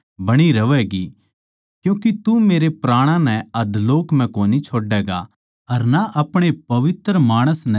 क्यूँके तू मेरै प्राणां नै अधोलोक म्ह कोनी छोड्डैगा अर ना अपणे पवित्र माणस नै सड़न देवैगा